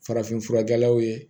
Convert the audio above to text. Farafinfurakɛlaw ye